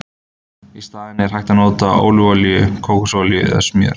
Í staðinn er hægt að nota ólífuolíu, kókosolíu eða smjör.